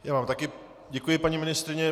Já vám také děkuji, paní ministryně.